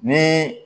Ni